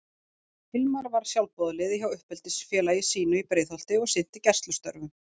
Hilmar var sjálfboðaliði hjá uppeldisfélagi sínu í Breiðholti og sinnti gæslustörfum.